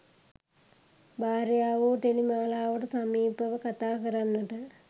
භාර්යාවෝ ටෙලි මාලාවට සමීපව කතා කරන්නට